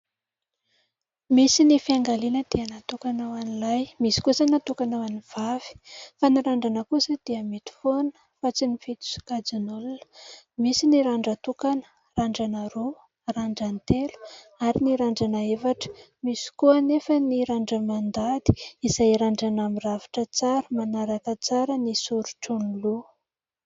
Misy ny fiangaliana dia natokana ho an'ny lahy, misy kosa natokana ho an'ny vavy. Fa ny randrana kosa dia mety foana fa tsy mifidy sokajin'olona. Misy ny randran-tokana, randrana roa, randran-telo ary ny randrana efatra ; misy koa anefa ny randra-mandady izay randrana mirafitra tsara, manaraka tsara ny soritry ny loha.